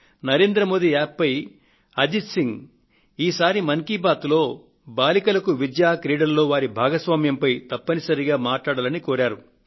Narendra Modi App పై అజిత్ సింగ్ ఈసారి మన్ కీ బాత్ లో బాలికలకు విద్య క్రీడలలో వారి భాగస్వామ్యంపైన తప్పనిసరిగా మాట్లాడవలసింది అని కోరారు